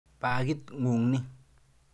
Pakit ng'ung' ni.